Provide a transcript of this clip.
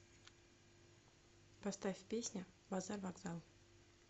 поставь песня базар вокзал